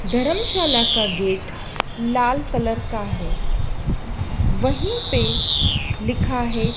धर्मशाला का गेट लाल कलर का है वहीं पे लिखा हैं।